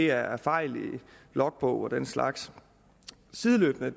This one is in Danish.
er er fejl i logbogen og den slags sideløbende